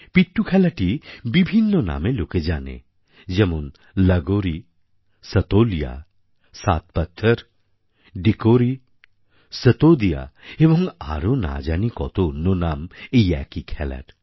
পিট্ঠু খেলাটিই বিভিন্ন নামে লোকে জানে যেমন লাগোরী সাতোলিয়া সাত পাত্থর ডিকোরী সতোদিয়া এবং আরও না জানি কত অন্য নাম এই একই খেলার